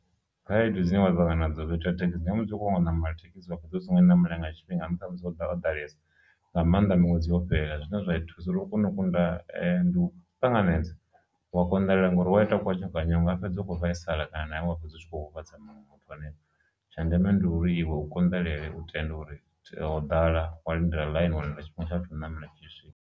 Khaedu dzine vha ṱangana nadzo thekhisi na musi u khou ṱoḓa u namela thekhisi wa fhedzisela u songo i namela nga tshifhinga nga nṱhani ha musi ho ḓalesa nga maanḓa miṅwedzi yo fhela, zwine zwa thusa uri u kone u kunda ndi u ṱanganedza u konḓelela ngori wa ita kwa nya kwanya u fhedzi ukho vhaisala kana na wa fhedza u tshi kho huvhadza muṅwe muthu hanefho, tsha ndeme ndi uri iwe u konḓelele u tende uri o ḓala wa lindela ḽaini wa lindela tshifhinga tsha u namela tshi tshi swika.